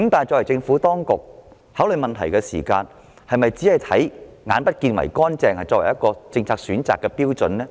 政府當局考慮問題時，是否只以"眼不見為乾淨"作為政策選擇的標準呢？